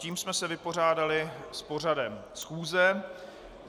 Tím jsme se vypořádali s pořadem schůze.